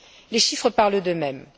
Les chiffres parlent d'eux mêmes.